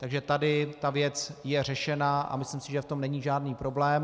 Takže tady ta věc je řešena a myslím si, že v tom není žádný problém.